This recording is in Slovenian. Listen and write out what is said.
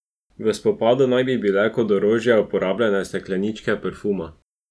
V spopadu naj bi bile kot orožje uporabljene stekleničke parfuma.